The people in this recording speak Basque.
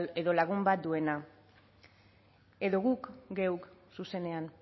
edo lagun bat duena edo guk geuk zuzenean